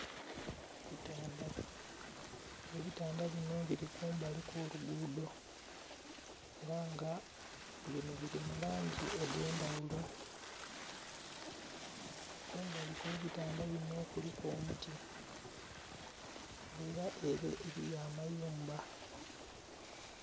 Ebitandha ebitandha binho bili kumbali kwo lugudho era nga biri mu langi edhe ndhaghulo, kumbali kwe ebitandha binho kuliku omuti nga era ere eriyo amayumba.